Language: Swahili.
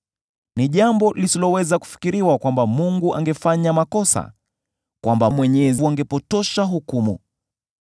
Ni jambo lisiloweza kufikiriwa kwamba Mungu angefanya makosa, kwamba Mwenyezi angepotosha hukumu.